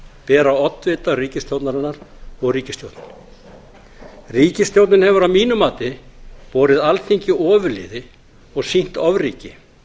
bera oddvitar ríkisstjórnarinnar og ríkisstjórnin ríkisstjórnin hefur að mínu mati borið alþingi ofurliði og sýnt ofríki